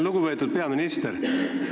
Lugupeetud peaminister!